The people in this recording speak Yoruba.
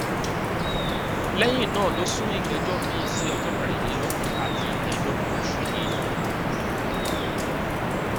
lẹyìn náà ló sún ìgbẹjọ miín sí ọjọ kẹrìnlélógún àti ìkẹẹẹdọgbọn oṣù yìí